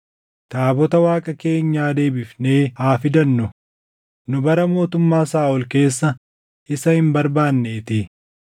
Taabota Waaqa keenyaa deebifnee haa fidannu; nu bara mootummaa Saaʼol keessa isa hin barbaaneetii.”